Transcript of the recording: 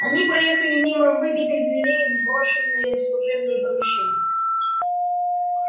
они проехали мимо выбитых дверей в брошенные служебные помещения